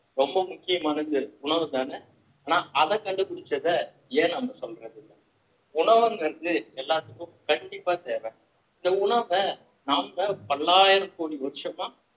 ரொம்ப முக்கியமானது உணவுதான ஆனா அதை கண்டுபிடிச்சதை ஏன் நம்ம சொல்லரது இல்ல உணவுங்கிறது எல்லாத்துக்கும் கண்டிப்பா தேவை இந்த உணவ நாம பல்லாயிரம் கோடி வருஷமா